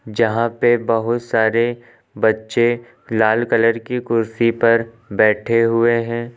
जहां पे बहुत सारे बच्चे लाल कलर की कुर्सी पर बैठे हुए हैं।